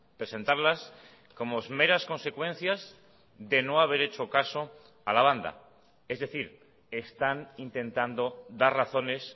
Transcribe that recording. presentarlas como meras consecuencias de no haber hecho caso a la banda es decir están intentando dar razones